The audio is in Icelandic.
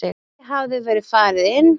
Ekki hafði verið farið inn.